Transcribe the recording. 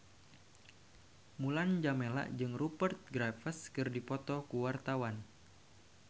Mulan Jameela jeung Rupert Graves keur dipoto ku wartawan